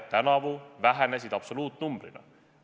– tänavu vähenesid need absoluutnumbrina.